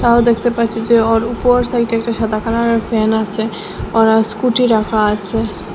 তাও দেখতে পাচ্ছি যে ওর ওপর সাইটে একটা সাদা কালারের ফ্যান আসে আর স্কুটি রাখা আসে।